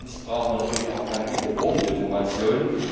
Drittens braucht man natürlich auch keine überbordende Information.